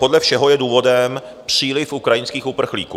Podle všeho je důvodem příliv ukrajinských uprchlíků.